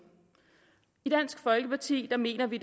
i dansk folkeparti mener vi